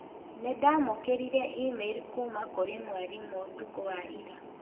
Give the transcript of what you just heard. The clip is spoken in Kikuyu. Nĩ ndamũkĩrire e-mail kuuma kũrĩ mwarimũ ũtukũ wa ira.